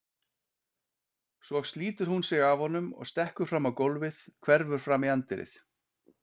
Svo slítur hún sig af honum og stekkur fram á gólfið, hverfur fram í anddyrið.